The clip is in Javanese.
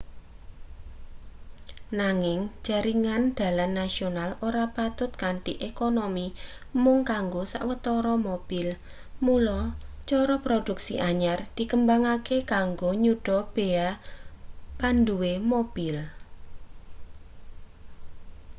nanging jaringan dalan nasional ora patut kanthi ekonomi mung kanggo sawetara mobil mula cara produksi anyar dikembangake kanggo nyuda beya panduwe mobil